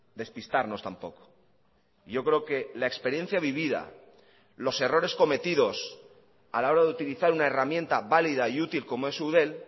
despistarnos tampoco yo creo que la experiencia vivida los errores cometidos a la hora de utilizar una herramienta válida y útil como es eudel